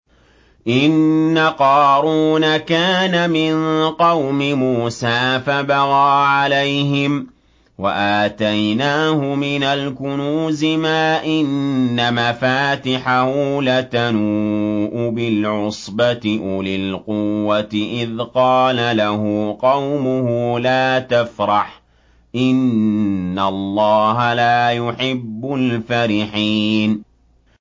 ۞ إِنَّ قَارُونَ كَانَ مِن قَوْمِ مُوسَىٰ فَبَغَىٰ عَلَيْهِمْ ۖ وَآتَيْنَاهُ مِنَ الْكُنُوزِ مَا إِنَّ مَفَاتِحَهُ لَتَنُوءُ بِالْعُصْبَةِ أُولِي الْقُوَّةِ إِذْ قَالَ لَهُ قَوْمُهُ لَا تَفْرَحْ ۖ إِنَّ اللَّهَ لَا يُحِبُّ الْفَرِحِينَ